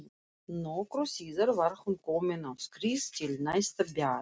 Nokkru síðar var hún komin á skrið til næsta bæjar.